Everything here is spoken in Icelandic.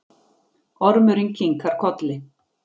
Ormurinn kinkar kolli.